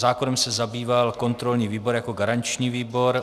Zákonem se zabýval kontrolní výbor jako garanční výbor.